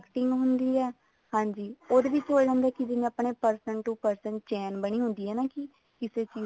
marketing ਹੁੰਦੀ ਹੈ ਹਾਂਜੀ ਉਹੇ ਵਿੱਚ ਹੋਇਆ ਹੁੰਦਾ ਜਿਵੇਂ ਆਪਣੇ person to person chain ਬਣੀ ਹੁੰਦੀ ਹੈ ਨਾ ਕੀ ਕਿਸੇ